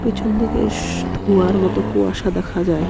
পিছন দিকে শশ ধোঁয়ার মত কুয়াশা দেখা যায়.